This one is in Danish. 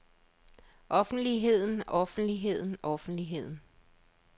offentligheden offentligheden offentligheden